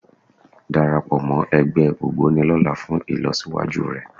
Darapọ̀ mọ́ ẹgbẹ́ Ògboni lọ́la fún ìlọsíwájú rẹ